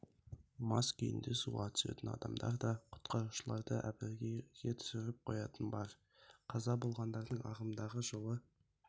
мас күйінде суға түсетін адамдар да құтқарушыларды әбігерге түсіріп қоятыны бар қаза болғандардың ағымдағы жылы